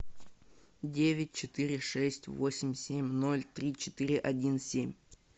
девять четыре шесть восемь семь ноль три четыре один семь